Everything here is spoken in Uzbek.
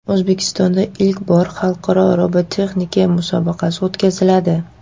O‘zbekistonda ilk bor xalqaro robototexnika musobaqasi o‘tkaziladi.